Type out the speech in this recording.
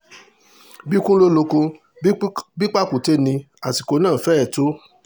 bí ikùn ló lóko bí pàkúté ní àsìkò náà fẹ́rẹ̀ tó o